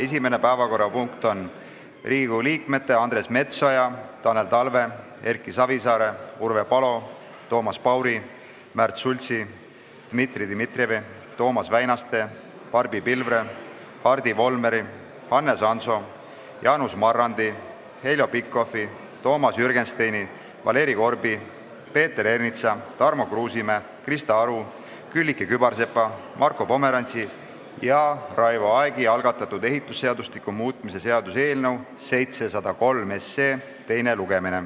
Esimene päevakorrapunkt on Riigikogu liikmete Andres Metsoja, Tanel Talve, Erki Savisaare, Urve Palo, Toomas Pauri, Märt Sultsi, Dmitri Dmitrijevi, Toomas Väinaste, Barbi Pilvre, Hardi Volmeri, Hannes Hanso, Jaanus Marrandi, Heljo Pikhofi, Toomas Jürgensteini, Valeri Korbi, Peeter Ernitsa, Tarmo Kruusimäe, Krista Aru, Külliki Kübarsepa, Marko Pomerantsi ja Raivo Aegi algatatud ehitusseadustiku muutmise seaduse eelnõu 703 teine lugemine.